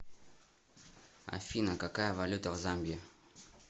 афина какая валюта в замбии